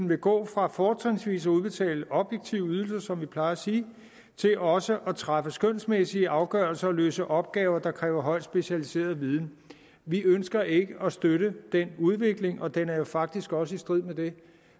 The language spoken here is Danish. man gå fra fortrinsvis at udbetale objektive ydelser som vi plejer at sige til også at træffe skønsmæssige afgørelser og løse opgaver der kræver højt specialiseret viden vi ønsker ikke at støtte den udvikling og den er jo faktisk også i strid med det